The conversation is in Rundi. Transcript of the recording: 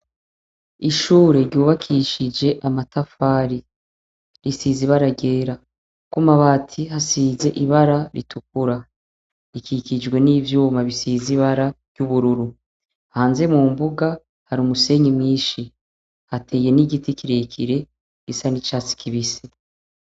Ishure ryubakishije amatafari risiz ibara gera, kuko umabati hasize ibara ritukura ikikijwe n'ivyuma bisize ibara ry'ubururu hanze mu mbuga hari umusenyi mwinshi hateye n'igiti kirekire isa ni ca si kibisi.